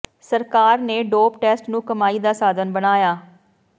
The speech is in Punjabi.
ਸਰਕਾਰ ਨੇ ਡੋਪ ਟੈਸਟ ਨੂੰ ਕਮਾਈ ਦਾ ਸਾਧਨ ਬਣਾਇਆ